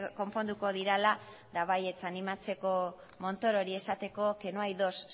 konponduko direla eta baietz animatzeko montorori esateko que no hay dos